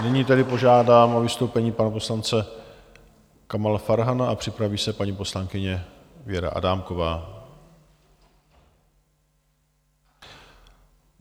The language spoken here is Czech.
Nyní tedy požádám o vystoupení pana poslance Kamala Farhana a připraví se paní poslankyně Věra Adámková.